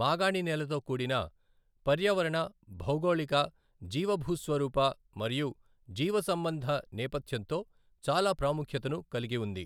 మాగాణినేలతో కూడిన పర్యావరణ, భౌగోళిక, జీవభూస్వరూప మరియు జీవసంబంధ నేపథ్యంతో చాలా ప్రాముఖ్యతను కలిగి ఉంది.